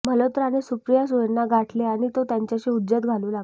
मल्होत्राने सुप्रिया सुळेंना गाठले आणि तो त्यांच्याशी हुज्जत घालू लागला